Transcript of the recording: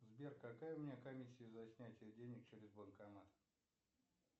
сбер какая у меня комиссия за снятие денег через банкомат